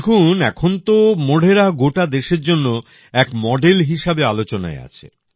দেখুন এখন তো মোঢেরা গোটা দেশের জন্য এক মডেল হিসেবে আলোচনায় আছে